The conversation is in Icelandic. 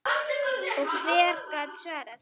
Og hver gat svarað því?